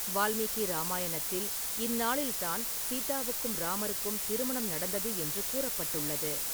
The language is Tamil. வால்மீகி ராமாயணத்தில், இந்நாளில்தான் சீதாவுக்கும், இராமருக்கும் திருமணம் நடந்தது என்று கூறப்பட்டுள்ளது.